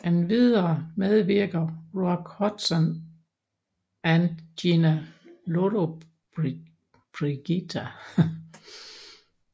Endvidere medvirker Rock Hudson and Gina Lollobrigida